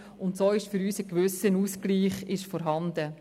So ist für uns ein gewisser Ausgleich vorhanden.